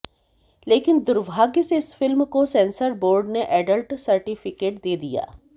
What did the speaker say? लेकिन दुर्भाग्य से इस फिल्म को सेंसर बोर्ड ने एडल्ट सर्टिफिकेट दे दिया